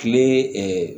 Kile ɛɛ